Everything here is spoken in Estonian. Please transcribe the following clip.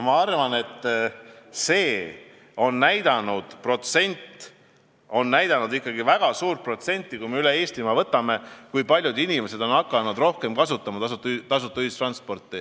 Ma arvan, et väga suur protsent inimesi üle Eestimaa on hakanud rohkem ühistransporti kasutama.